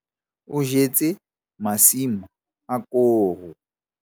O jetse masimo a koro.